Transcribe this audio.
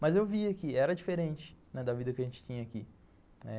Mas eu via que era diferente da vida que a gente tinha aqui.